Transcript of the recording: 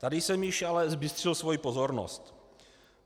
Tady jsem již ale zbystřil svoji pozornost.